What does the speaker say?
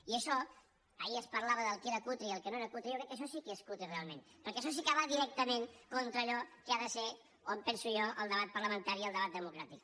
i això ahir es parlava del que era cutre i el que no era cutre jo crec que això sí que és tre realment perquè això sí que va directament con·tra allò que ha de ser o em penso jo el debat parla·mentari i el debat democràtic